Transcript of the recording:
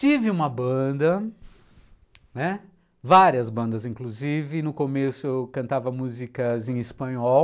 Tive uma banda, né, várias bandas inclusive, e no começo eu cantava músicas em espanhol,